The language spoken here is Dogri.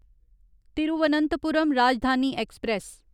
तिरुवनंतपुरम राजधानी ऐक्सप्रैस